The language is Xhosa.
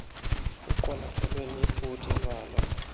kuqwalaselwe nefuthe laloo